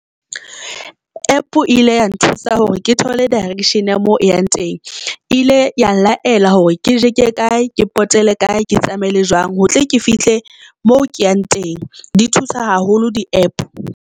APP ile ya nthusa hore ke thole direction ya moo ke yang teng ile ya nlaela hore ke jeke e kae, ke pote le kae, ke tsamaile jwang ho tle ke fihle moo ke yang teng, di thusa haholo di-APP.